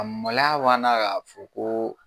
A maloya banna k'a fɔ ko.